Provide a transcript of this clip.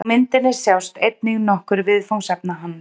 Á myndinni sjást einnig nokkur viðfangsefna hans.